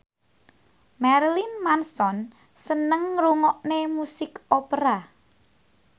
Marilyn Manson seneng ngrungokne musik opera